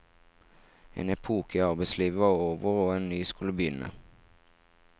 En epoke i arbeidslivet var over, og en ny skulle begynne.